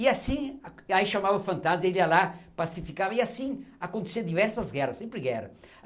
E assim, aí chamava o fantasma, ele ia lá, pacificava e assim acontecia diversas guerras, sempre guerra.